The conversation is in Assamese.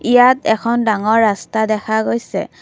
ইয়াত এখন ডাঙৰ ৰাস্তা দেখা গৈছে।